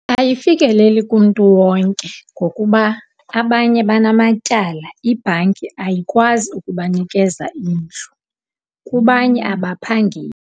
Ayifikeleli kumntu wonke ngokuba abanye banamatyala. Ibhanki ayikwazi ukubanikeza indlu, kubanye abaphangeli.